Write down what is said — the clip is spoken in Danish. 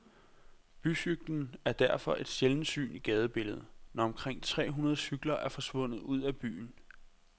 Bycyklen er derfor et sjældent syn i gadebilledet, når omkring tre hundrede cykler er forsvundet ud af byen.